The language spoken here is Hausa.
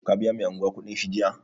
Ka biya mai anguwa kuɗin shi jiya?